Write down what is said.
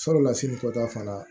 Sabula sini kɔta fana